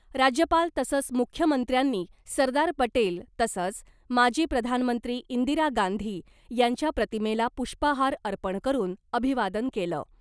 राज्यपाल तसंच मुख्यमंत्र्यांनी सरदार पटेल तसंच माजी प्रधानमंत्री इंदिरा गांधी यांच्या प्रतिमेला पुष्पहार अर्पण करून अभिवादन केलं .